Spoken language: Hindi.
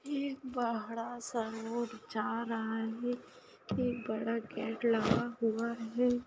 ये बड़ा सा रोड जा रहा है एक बड़ा गेट लगा हुआ है ।